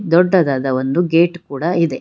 ದೊಡ್ಡದಾದ ಒಂದು ಗೇಟ್ ಕೂಡ ಇದೆ.